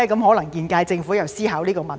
可能現屆政府也在思考這個問題。